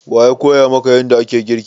Wa ya koya maka yanda ake girki?